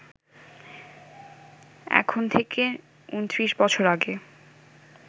এখন থেকে ২৯ বছর আগে